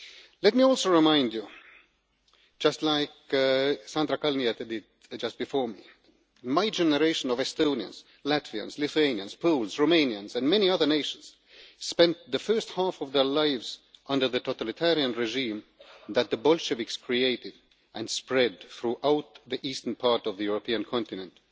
Let me also remind you just as Sandra Kalniete did just before me my generation of Estonians, Latvians, Lithuanians, Poles, Romanians and many other nations spent the first half of their lives under the totalitarian regime that the Bolsheviks created and spread throughout the eastern part of the European continent.